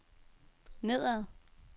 nedad